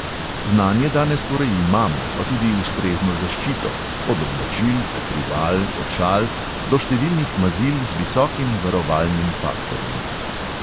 Znanje danes torej imamo, pa tudi ustrezno zaščito – od oblačil, pokrival, očal do številnih mazil z visokim varovalnim faktorjem.